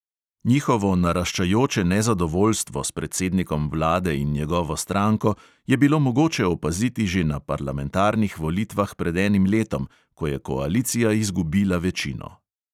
Njihovo naraščajoče nezadovoljstvo s predsednikom vlade in njegovo stranko je bilo mogoče opaziti že na parlamentarnih volitvah pred enim letom, ko je koalicija izgubila večino.